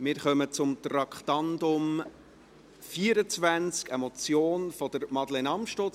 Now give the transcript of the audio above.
Wir kommen zum Traktandum 24, einer Motion von Madeleine Amstutz.